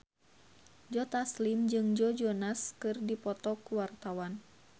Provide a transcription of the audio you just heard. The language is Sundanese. Joe Taslim jeung Joe Jonas keur dipoto ku wartawan